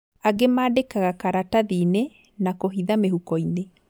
Angĩ maandĩkaga karatathiinĩ na kũhitha mĩhukoinĩ